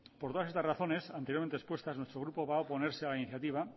por todas estas razones anteriormente expuestas nuestro grupo va a oponerse a la iniciativa